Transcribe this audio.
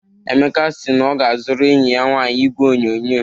Emeka si na ọ ga-azụrụ enyi ya nwaanyị igwe onyonyo